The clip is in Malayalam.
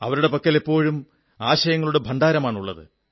അവരുടെ പക്കൽ എപ്പോഴും ആശയങ്ങളുടെ ഭണ്ഡാരമാണുള്ളത്